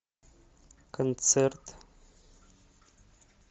концерт